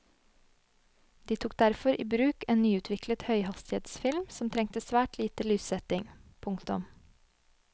De tok derfor i bruk en nyutviklet høyhastighetsfilm som trengte svært lite lyssetting. punktum